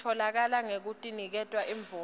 itfolakala ngekuniketwa imvume